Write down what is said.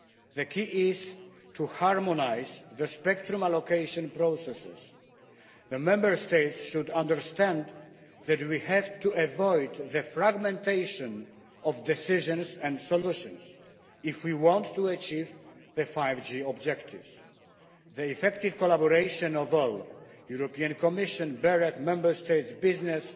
The key is to harmonise the spectrum allocation processes. The Member States should understand that we have to avoid the fragmentation of decisions and solutions if we want to achieve the 5G objectives. The effective collaboration of all the European Commission, BEREC, the Member States, business,